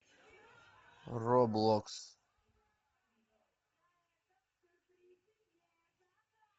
роблокс